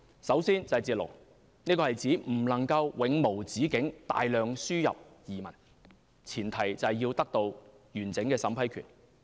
首先是"截龍"，這是指不能永無止境大量輸入移民，前提是要得到完整審批權。